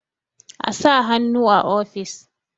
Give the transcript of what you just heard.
a sa hannu a ofis!